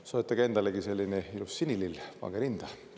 Ja soetage endalegi selline ilus sinilill, pange rinda.